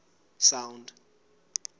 sound